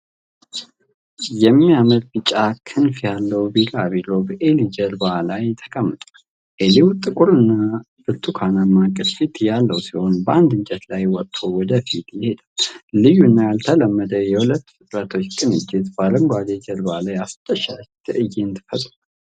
የሚያምር ቢጫ ክንፍ ያለው ቢራቢሮ በኤሊ ጀርባ ላይ ተቀምጧል። ኤሊው፣ ጥቁርና ብርቱካንማ ቅርፊት ያለው ሲሆን፣ በአንድ እንጨት ላይ ወጥቶ ወደፊት ይሄዳል። ልዩና ያልተለመደ የሁለቱ ፍጥረታት ቅንጅት፣ በአረንጓዴው ጀርባ ላይ አስደሳች ትዕይንት ፈጥሯል።